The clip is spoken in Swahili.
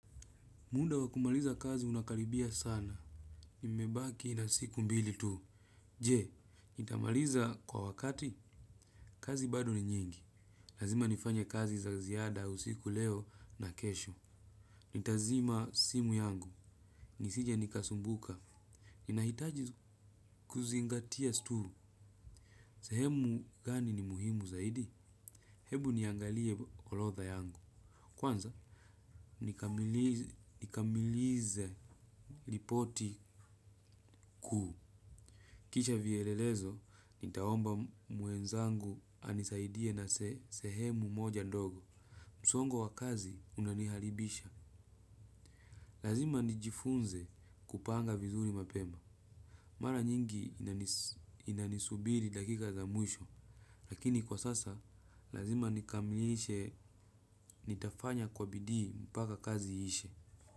Munda wa kumaliza kazi unakaribia sana. Nimebaki na siku mbili tu. Je, nitamaliza kwa wakati, kazi bado ni nyingi. Lazima nifanye kazi za ziada usiku leo na kesho. Nitazima simu yangu. Nisije nikasumbuka. Ninahitaji kuzingatia sturu. Sehemu gani ni muhimu zaidi? Hebu niangalie orodha yangu. Kwanza, nikamili nikamilize ripoti kuu. Kisha vielelezo, nitaomba mwenzangu anisaidie na se sehemu moja ndogo. Msongo wa kazi unaniharibisha. Lazima nijifunze kupanga vizuri mapema. Mara nyingi inanis inanisubiri dakika za mwisho. Lakini kwa sasa, lazima nikamilishe nitafanya kwa bidii mpaka kazi ishe.